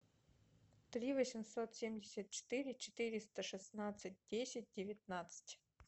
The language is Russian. три восемьсот семьдесят четыре четыреста шестнадцать десять девятнадцать